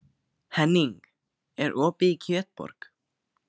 Henning, er opið í Kjötborg?